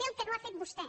sé el que no ha fet vostè